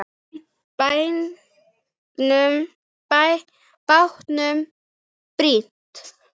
Bátnum brýnt.